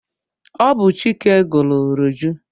Ọ bụ Chike gụrụ Roju.